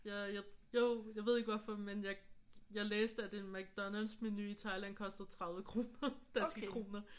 Jeg jeg jo jeg ved ikke hvorfor men jeg jeg læste at en McDonald's-menu i Thailand koster 30 kroner. Danske kroner